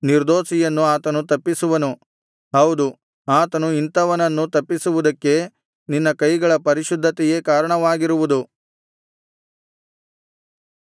ನಿರ್ದೋಷಿಯನ್ನು ಆತನು ತಪ್ಪಿಸುವನು ಹೌದು ಆತನು ಇಂಥವನನ್ನು ತಪ್ಪಿಸುವುದಕ್ಕೆ ನಿನ್ನ ಕೈಗಳ ಪರಿಶುದ್ಧತೆಯೇ ಕಾರಣವಾಗಿರುವುದು